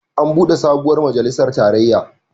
An buɗe sabuwar majalisar tarayya.